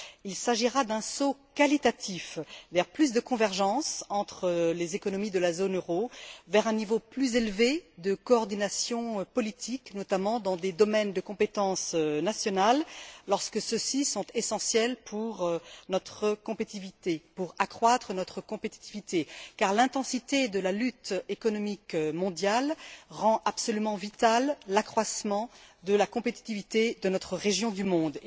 Il s'agira d'un saut qualitatif vers plus de convergence entre les économies de la zone euro, vers un niveau plus élevé de coordination politique, notamment dans des domaines de compétences nationales lorsque ceux ci sont essentiels pour accroître notre compétitivité, car l'intensité de la lutte économique mondiale rend absolument vital l'accroissement de la compétitivité de notre région du monde.